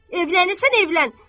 Evlənirsən, evlən.